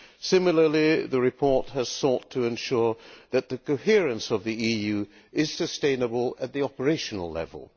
Similarly, the report has sought to ensure that the coherence of the EU is sustainable at the operational level.